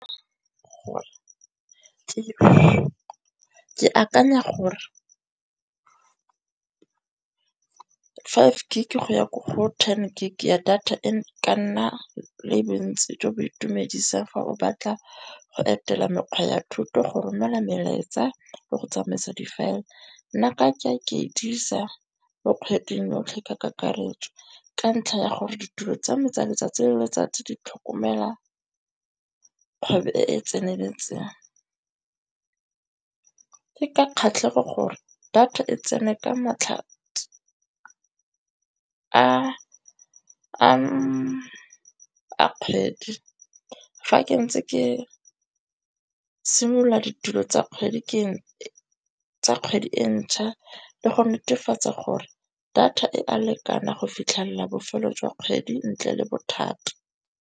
Ke akanya gore five gig go ya ko go ten gig ya data e ka nna le bontsi jo bo itumedisang fa o batla go etela mekgwa ya thuto, go romela melaetsa le go tsamaisa difaele. Nna nka ke dirisa mo kgweding yotlhe ka kakaretso, ka ntlha ya gore ditulo tsa me tsa letsatsi le letsatsi di tlhokomela kgwebo e e tseneletseng. Ke ka kgatlhego gore data e tsene ka matlhatsi a kgwedi fa ke ntse ke simolola ditulo tsa kgwedi e ntšha le go netefatsa gore data e a lekana go fitlhella bofelo jwa kgwedi ntle le bothata.